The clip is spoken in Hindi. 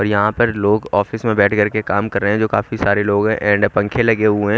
और यहाँ पर लोग ऑफिस में बैठ कर के काम कर रहे हैं जो काफी सारे लोग हैं एंड पंखे लगे हुए हैं।